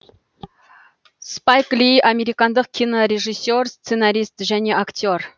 спайк ли американдық кинорежиссер сценарист және актер